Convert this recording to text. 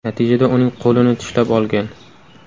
Natijada uning qo‘lini tishlab olgan.